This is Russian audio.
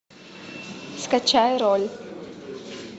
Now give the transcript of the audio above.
скачай роль